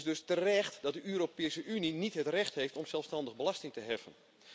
Het is dus terecht dat de Europese Unie niet het recht heeft om zelfstandig belasting te heffen.